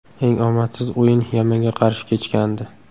Eng omadsiz o‘yin Yamanga qarshi kechgandi.